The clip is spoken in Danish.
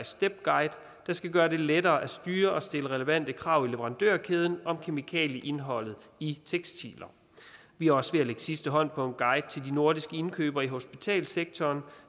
step guide der skal gøre det lettere at styre og stille relevante krav i leverandørkæden om kemikalieindholdet i tekstiler vi er også ved at lægge sidste hånd på en guide til de nordiske indkøbere i hospitalssektoren